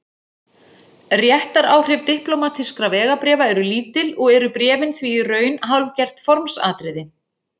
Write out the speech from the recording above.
Réttaráhrif diplómatískra vegabréfa eru lítil og eru bréfin því í raun hálfgert formsatriði.